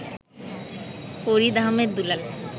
Farid Ahmed Dulal